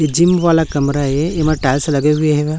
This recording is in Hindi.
ये जिम वाला कमरा है एमे टाइल्स लगे हुए --